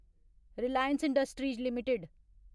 Reliance Industries limited